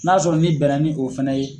N'a sɔrɔ n'i bɛ na ni o fana ye.